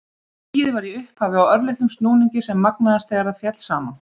Skýið var í upphafi á örlitlum snúningi sem magnaðist þegar það féll saman.